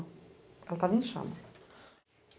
Ela estava em chama.